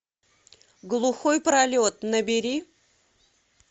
глухой пролет набери